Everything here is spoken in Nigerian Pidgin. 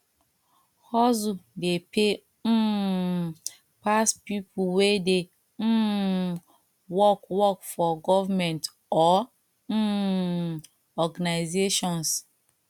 hustle dey pay um pass pipo wey dey um work work for government or um organisations